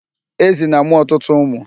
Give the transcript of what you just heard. Ezi na-amụ ọtụtụ ụmụ.